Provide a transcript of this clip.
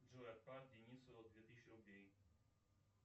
джой отправь денисову две тысячи рублей